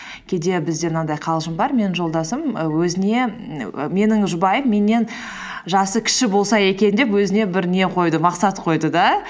кейде бізде мынандай қалжың бар менің жолдасым і өзіне менің жұбайым меннен жасы кіші болса екен деп өзіне бір не қойды мақсат қойды да